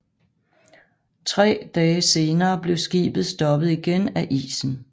Tre dage senere blev skibet stoppet igen af isen